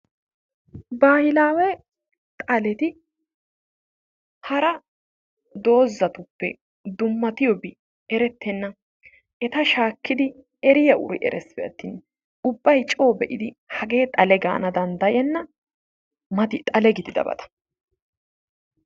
Baahilawe xaleti hara doozatuppe dummatiyoobi erettenna! eta shaakkidi eriya uri eresppe atin ubbay coo be'idi hage xale gaana danddayena, mati xale gididabata